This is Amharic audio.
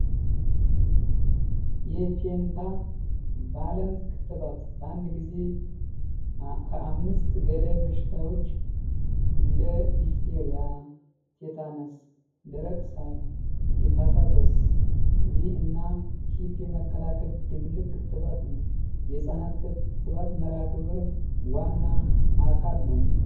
የፒንታቫለን ትክትባት በአንድ ጊዜ ከአምስት ገዳይ በሽታዎች እንደ ጊታርያ ቲታነስ ደረቅ ሳል እና የህፃናት ህመም መከላከል የህጻናት ክትባት ነው። የህፃናት ክትባት መርሃ ግብር ዋና አካል ነው።